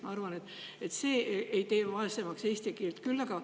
Ma arvan, et see ei tee küll eesti keelt vaesemaks.